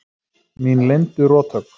Mín leyndu rothögg.